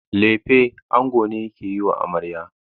Lefe ango ne yake yiwa amarya.